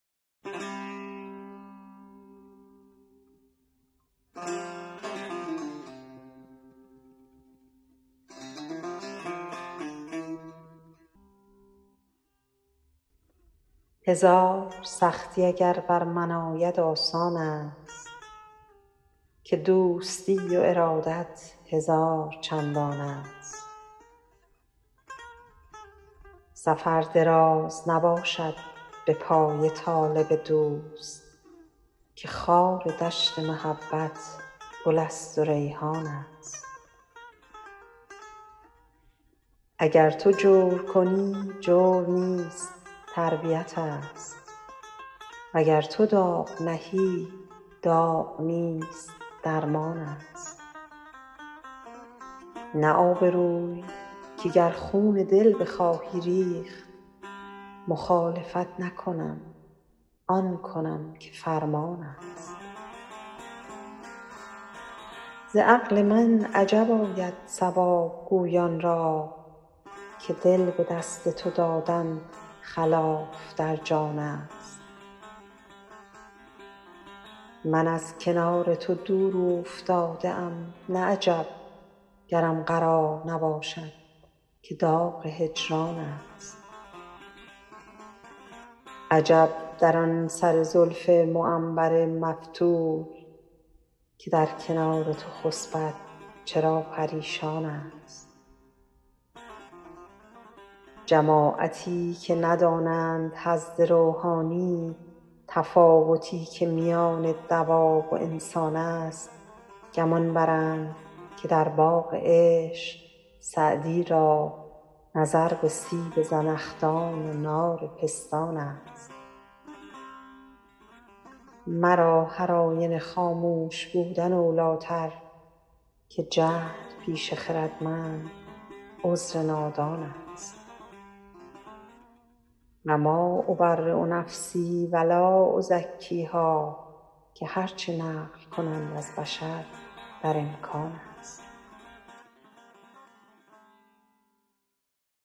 هزار سختی اگر بر من آید آسان است که دوستی و ارادت هزار چندان است سفر دراز نباشد به پای طالب دوست که خار دشت محبت گل است و ریحان است اگر تو جور کنی جور نیست تربیت ست وگر تو داغ نهی داغ نیست درمان است نه آبروی که گر خون دل بخواهی ریخت مخالفت نکنم آن کنم که فرمان است ز عقل من عجب آید صواب گویان را که دل به دست تو دادن خلاف در جان است من از کنار تو دور اوفتاده ام نه عجب گرم قرار نباشد که داغ هجران است عجب در آن سر زلف معنبر مفتول که در کنار تو خسبد چرا پریشان است جماعتی که ندانند حظ روحانی تفاوتی که میان دواب و انسان است گمان برند که در باغ عشق سعدی را نظر به سیب زنخدان و نار پستان است مرا هرآینه خاموش بودن اولی تر که جهل پیش خردمند عذر نادان است و ما أبری نفسی و لا أزکیها که هر چه نقل کنند از بشر در امکان است